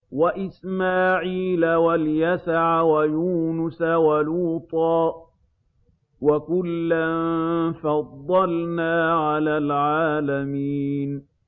وَإِسْمَاعِيلَ وَالْيَسَعَ وَيُونُسَ وَلُوطًا ۚ وَكُلًّا فَضَّلْنَا عَلَى الْعَالَمِينَ